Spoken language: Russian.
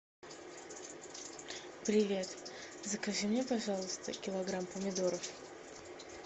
привет закажи мне пожалуйста килограмм помидоров